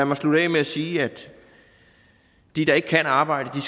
mig slutte af med at sige at de der ikke kan arbejde